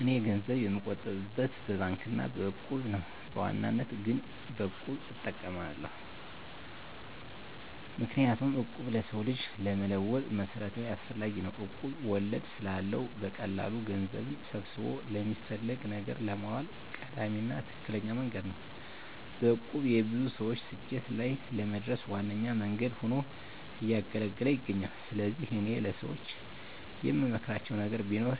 እኔ ገንዘብ የምቆጥብበት በባንክ አና በእቁብ ነው። በዋናነት ግን በቁብ እጠቀማለሁ። ምክንያቱም እቁብ ለሰው ልጅ ለመለወጥ መሰረታዊና አስፈላጊ ነው። እቁብ ወለድ ስለለው በቀላሉ ገንዘብን ሰብስቦ ለሚፈለግ ነገር ለማዋል ቀዳሚና ትክክለኛ መንገድ ነው። በእቁብ የብዙ ሰወች ስኬት ላይ ለመድረስ ዋነኛ መንገድ ሁኖ እያገለገለ ይገኛል። ስለዚህ እኔ ለሰወች የምመክራቸው ነገር ቢኖር